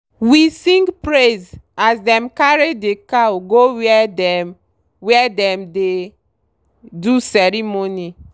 we sing praise as them carry the cow go where dem where dem dey do ceremony